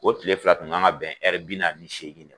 O tile fila tun kan ka bɛn bi na ni seegin